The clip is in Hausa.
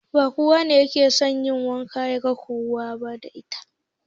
Ba kowa bane da yaje gun karuwa yake so ya kwana da ita